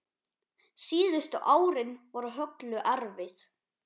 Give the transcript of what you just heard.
Síðustu árin voru Höllu erfið.